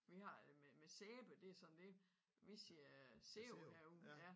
Vi har det med med sæbe det sådan dét vi siger øh sæbe herude ja